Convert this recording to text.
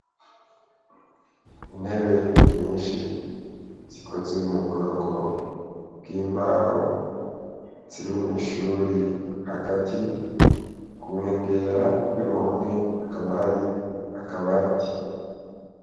Intebe nyinshi zikoze mu bwoko bw'imbaho ziri mw' ishuri hagati ku nkengera y' uruhome hakaba hari akabati.